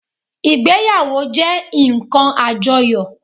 Ìgbéyàwó jé nkan àjoyò